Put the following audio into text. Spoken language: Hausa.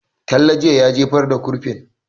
Talle jiye ya jefar da kurfin